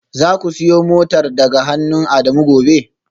Zaku siyo motar daga hannun Adamu gobe